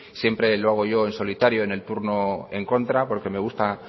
siempre lo hago yo en solitario en el turno en contra porque me gusta